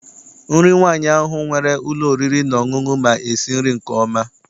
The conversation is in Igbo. Nri nwaanyị ahụ nwere ụlọ oriri na ọṅụṅụ ma esi nri nke ọma.